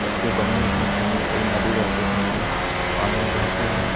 सबके बने हुए दिखाई सामने एक नदी बन रही पानी बहता हुआ--